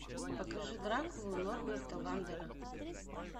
покажи дракулу норберта вандера